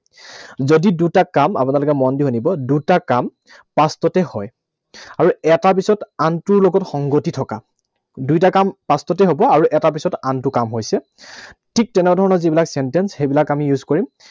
যদি দুটা কাম, আপোনালোকে মন দি শুনিব, দুটা কাম past তেই হয়। আৰু এটাৰ পিছত আনটোৰ লগত সংগতি থকা। দুইটা কাম past তেই হব। আৰু এটাৰ পিছত আনটো কাম হৈছে, ঠিক তেনে ধৰণৰ যিবিলাক sentence, সেইবিলাক আমি use কৰিম